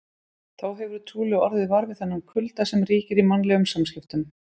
Þá hefurðu trúlega orðið var við þennan kulda sem ríkir í mannlegum samskiptum.